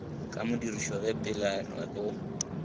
sa modirišo ge peelano go